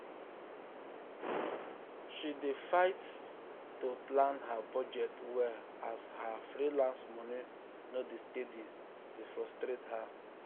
she dey fight um to plan her budget well as her freelance money no dey steady dey frustrate um her.